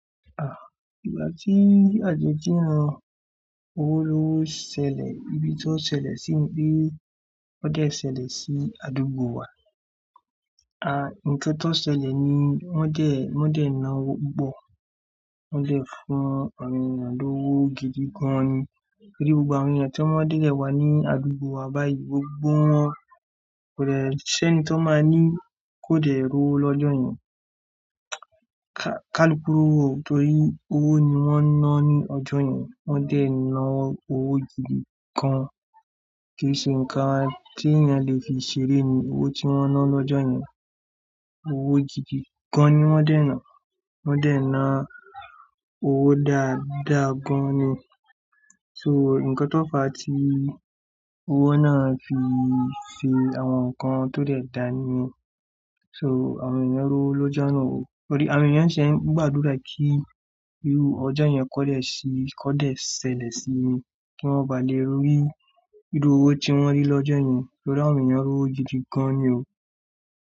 Igbà tí àjọ jùnà owó ló ṣẹlẹ̀, ìbí tí ó ṣẹlẹ̀ sí bí ó dè ṣẹlẹ̀ sí àdúgbò wa. À, ǹkan tó ṣẹlẹ̀ ni wọn dè, wọn dè ń ná owó pupo, wọn dè fún àwọn ènìyàn lówó gidi gan ni. Torí gbogbo àwọn ènìyàn tí wọ́n dé ilẹ wá ní àdúgbò wa báyìí, gbogbo wọn kò dè ṣẹ́ni to máa ní kó dẹ rówo lọ́jọ́ yẹn. Káluku rowo o tó rí owó ni wọ́n ná ní ọjọ́ yẹn, wọ́n dẹ̀ ná owó gidi gan. Kì í ṣe ǹkan tí ènìyàn le fi ṣeré ni owó tí wọ́n ná lọ́jọ́ yẹn. Owó gidi gan ni wọ́n dẹ̀ ná, wọ́n dẹ̀ ná owó dáadáa gan ni. So, ǹkan tó fà tí owó náà fi ṣe àwọn nǹkan tó dẹ̀ dáa ni. So, àwọn ènìyàn rówo lọ́jọ́ náà o. Torí àwọn ènìyàn ṣẹ́ n gbàdúrà kí irú ọjọ́ yẹn kọ́ lè ṣí, kọ́ dè ṣẹlẹ̀ sí, kí wọ́n bà le rí irú owó tí wọ́n rí lọ́jọ́ yẹn. Torí àwọn ènìyàn ri òwò gidi gan ni o.